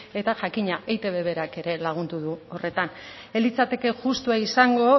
eta jakina eitb berak ere lagun du horretan ez litzateke justua izango